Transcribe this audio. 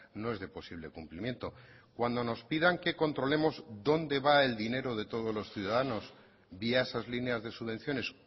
no es de posible cumplimiento cuando nos pidan que controlemos dónde va el dinero de todos los ciudadanos vía esas líneas de subvenciones